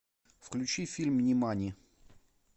включи фильм нимани